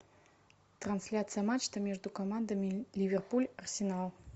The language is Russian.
трансляция матча между командами ливерпуль арсенал